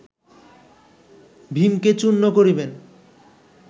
ভীমকে চূর্ণ করিবেন